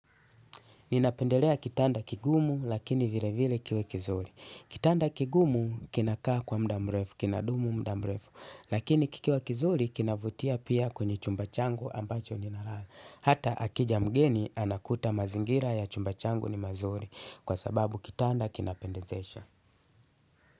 Ninapendelea kitanda kigumu lakini vile vile kiwe kizuri. Kitanda kigumu kinakaa kwa muda mrefu, kinadumu muda mrefu. Lakini kikiwa kizuri kinavutia pia kwenye chumba changu ambacho ninalala. Hata akija mgeni anakuta mazingira ya chumba changu ni mazuri kwa sababu kitanda kinapendezesha.